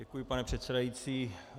Děkuji, pane předsedající.